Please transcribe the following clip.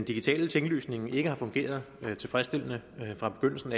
digitale tinglysning ikke har fungeret tilfredsstillende fra begyndelsen